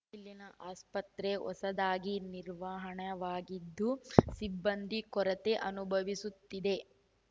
ಇಲ್ಲಿನ ಆಸ್ಪತ್ರೆ ಹೊಸದಾಗಿ ನಿರ್ಮಾಣವಾಗಿದ್ದು ಸಿಬ್ಬಂದಿ ಕೊರತೆ ಅನುಭವಿಸುತ್ತಿದೆ